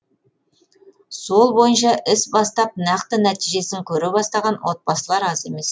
сол бойынша іс бастап нақты нәтижесін көре бастаған отбасылар аз емес